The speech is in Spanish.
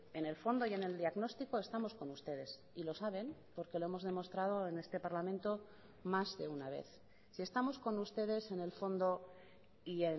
en el fondo y en el diagnóstico estamos con ustedes y lo saben porque lo hemos demostrado en este parlamento más de una vez si estamos con ustedes en el fondo y